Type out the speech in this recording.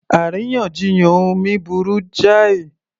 Àríyànjiyàn omi burú jáì